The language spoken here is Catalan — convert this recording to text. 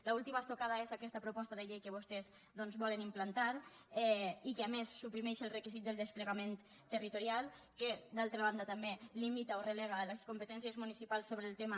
l’última estocada és aquesta proposta de llei que vostès volen implantar i que a més suprimeix els requisits del desplegament territorial que d’altra banda també limita o relega les competències municipals sobre el tema